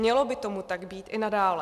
Mělo by tomu tak být i nadále.